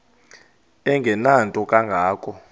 engenanto kanga ko